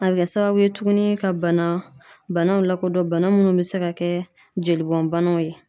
A be kɛ sababu ye tuguni ka banaw lakodɔn ,bana munnu be se ka kɛ jolibɔn banaw ye.